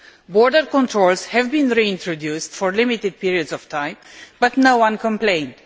Border controls have been reintroduced for limited periods of time, but no one complained.